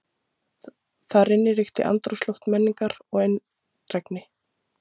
Þar inni ríkti andrúmsloft menningar og eindrægni.